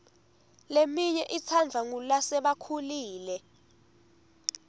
leminye itsandvwa ngulasebakhulile